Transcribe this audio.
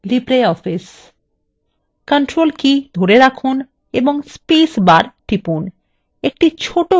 control key ধরে রাখুন এবং space bar টিপুন